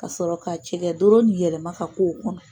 Ka sɔrɔ ka cɛkɛ doro nin yɛlɛma ka k'o kɔnɔ.